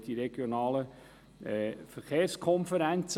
Es gibt die regionalen Verkehrskonferenzen.